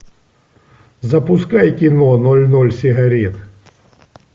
запускай кино ноль ноль сигарет